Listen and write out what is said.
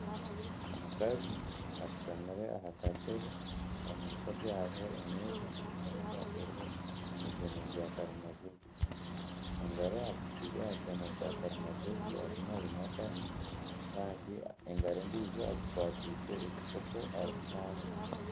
Omukazi ashutamire aha katebe omu maisho gye hariho emeeza, emeeza eriho ebyoma bya karimagyezi engaro agitaire aha kyoma kya karimagyezi arimu nayimataho kandi engaro endiijo agikwatiise ekikopo arimu nanywa.